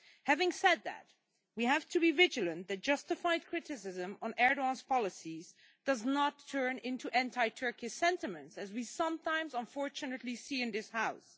Having said that, we have to be vigilant that justified criticism of Erdogan's policies does not turn into anti Turkish sentiment, as we sometimes, unfortunately, see in this House.